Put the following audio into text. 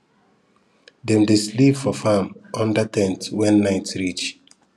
dem dey sleep for farm under ten t when night reach